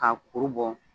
K'a kuru bɔ